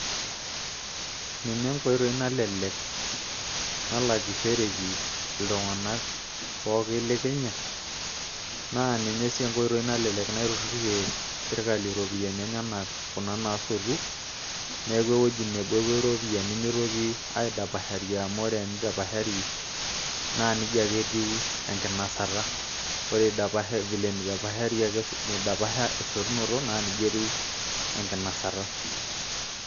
ninye enkoitoi nalelek nalakishoreki iltung'anak pooki le kenya naa ninye sii enkoitoi nalelek naiturrurie sirkali iropiyiani enyenak kuna naasotu neeku ewueji nebo epuo iropiyiani mitoki aidapashari amu tenidapashari naa nijia ake etiu enkinasata ore vile enidapasha esotunoto naa nijia etiu enkinasata.